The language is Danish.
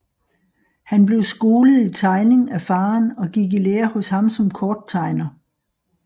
Han blev skolet i tegning af faderen og gik i lære hos ham som korttegner